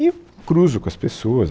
E cruzo com as pessoas.